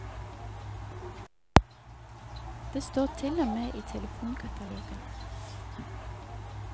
Det står til og med i telefonkatalogen.